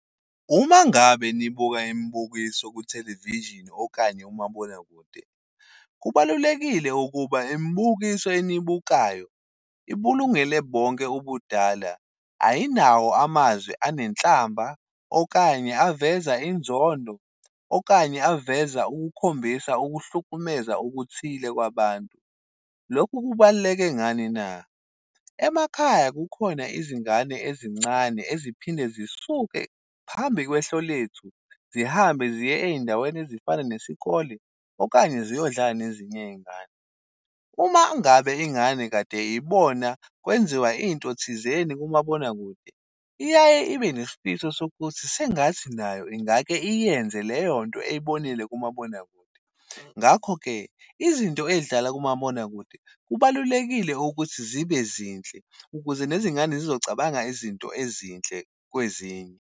Uma ngabe nibuka imibukiso ku-television okanye umabonakude, kubalulekile ukuba imibukiso eniyibukayo ibulungele bonke ubudala. Ayinawo amazwi anenhlamba, okanye aveza inzondo, okanye aveza ukukhombisa ukuhlukumeza okuthile kwabantu. Lokhu kubaluleke ngani na? Emakhaya kukhona izingane ezincane eziphinde zisuke phambi kwehlo lethu, zihambe ziye eyindaweni ezifana nesikole, okanye ziyodlala nezinye ingane. Uma ngabe ingane kade ibona kwenziwa into thizeni kumabonakude, iyaye ibe nesifiso sokuthi sengathi nayo ingake iyenze leyo nto eyibonile kumabonakude. Ngakho-ke, izinto ey'dlala kumabonakude, kubalulekile ukuthi zibe zinhle ukuze nezingane zizocabanga izinto ezinhle kwezinye.